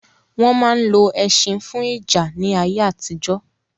Wọn ma ń lo ẹṣin fún ìjà ní ayé àtijọ́